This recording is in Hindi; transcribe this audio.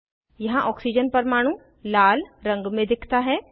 यहाँ ऑक्सीजन परमाणु लाल रंग में दिखता है